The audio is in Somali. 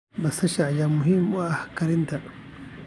Basasha ayaa muhiim u ah karinta.